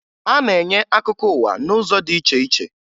A na-enye akụkọ ụwa n'ụzọ dị iche iche